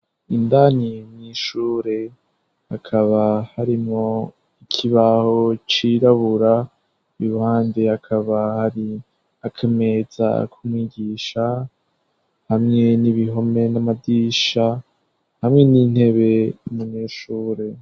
Indani mw'ishure hakaba harimwo ikibaho cirabura, iruhande hakaba hari akameza kumwigisha, hamwe n'ibihome n'amadirisha, hamwe n'intebe n'umunyeshure.